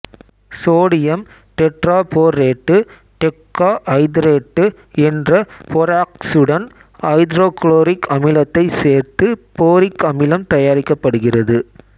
sodium tetraborate decahydrate என்ற போராக்சுடன் hydrochloric அமிலத்தைச் சேர்த்து போரிக் அமிலம் தயாரிக்கப்படுகிறது